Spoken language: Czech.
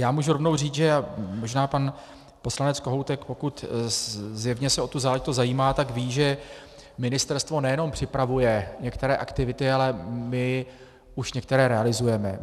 Já můžu rovnou říct, a možná pan poslanec Kohoutek, pokud zjevně se o tu záležitost zajímá, tak ví, že ministerstvo nejenom připravuje některé aktivity, ale my už některé realizujeme.